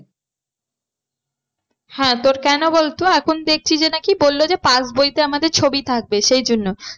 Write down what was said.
হ্যাঁ তোর কেন বলতো দেখছি যে না কি বললো যে pass বইতে আমাদের ছবি থাকবে সেই জন্য